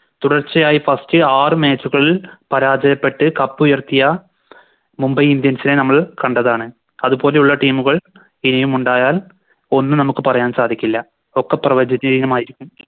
തുടർച്ചയായ First ആറ് Match കളിൽ പരാജയപ്പെട്ട് Cup ഉയർത്തിയ Mumbai indians നെ നമ്മള് കണ്ടതാണ് അതുപോലെയുള്ള Team കൾ ഇനിയുമുണ്ടായാൽ ഒന്നും നമുക്ക് പറയാൻ സാധിക്കില്ല ഒക്കെ പ്രവചതനീയമായിരിക്കും